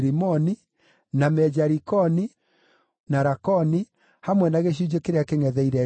na Me-Jarikoni, na Rakoni, hamwe na gĩcunjĩ kĩrĩa kĩngʼetheire Jopa.